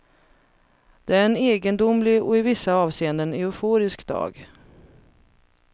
Det är en egendomlig och i vissa avseenden euforisk dag.